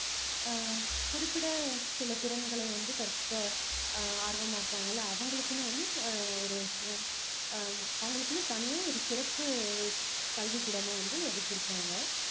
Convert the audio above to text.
ஆஹ் குறிப்பிட சில திறன்களை வந்து கற்க ஆஹ் ஆர்வமா இருக்காங்கல்ல அவங்களுக்குன்னு வந்து ஆஹ் ஒரு ஆஹ் அவங்களுக்குன்னு தனியா ஒரு சிறப்பு கல்விக் கூடமும் வந்து ஒதுக்கி இருக்காங்க